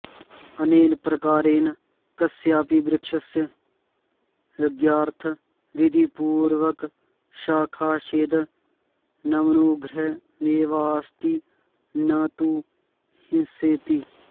अनेन प्रकारेण कस्यापि वृक्षस्य यज्ञार्थं विधिपूर्वकं शाखाच्छेदनमनुग्रहमेवाऽस्ति न तु हिंसेति